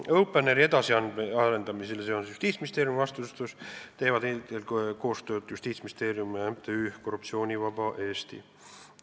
Openeri edasiarendamisel, mis on Justiitsministeeriumi vastutusel, teevad koostööd eelkõige Justiitsministeerium ja MTÜ Korruptsioonivaba Eesti.